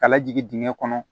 Ka lajigin dingɛ kɔnɔ